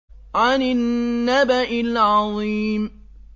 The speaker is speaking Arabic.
عَنِ النَّبَإِ الْعَظِيمِ